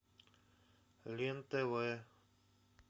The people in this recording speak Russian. лен тв